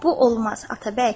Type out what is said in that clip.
Bu olmaz, Atabəy.